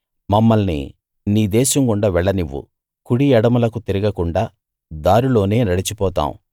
మమ్మల్ని నీ దేశం గుండా వెళ్ళనివ్వు కుడి ఎడమలకు తిరగకుండా దారిలోనే నడిచిపోతాము